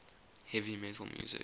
heavy metal music